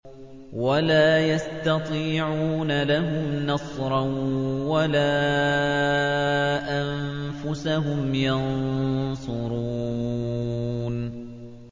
وَلَا يَسْتَطِيعُونَ لَهُمْ نَصْرًا وَلَا أَنفُسَهُمْ يَنصُرُونَ